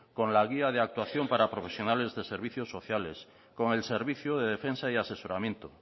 con la guía de actuación para profesionales de servicios sociales con el servicio de defensa y asesoramiento